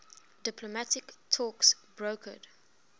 diplomatic talks brokered